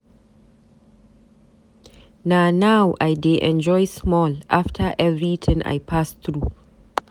Na now I dey enjoy small after everything I pass through.